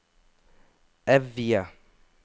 Evje